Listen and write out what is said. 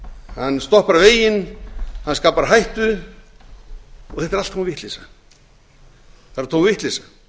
hann stoppar veginn hann skapar hættu og þetta er allt tóm vitleysa það er tóm vitleysa